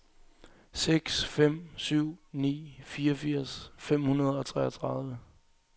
seks fem syv ni fireogfirs fem hundrede og treogtredive